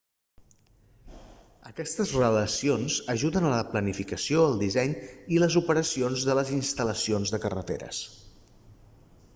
aquestes relacions ajuden a la planificació el disseny i les operacions de les instal·lacions de carreteres